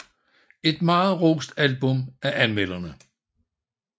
Et meget rost album af anmelderne